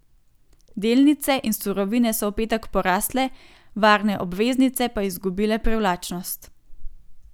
Delnice in surovine so v petek porasle, varne obveznice pa izgubile privlačnost.